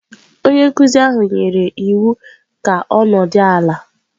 Onye nkụzi ahụ nyere ya iwu ka ọ nọdụ ala.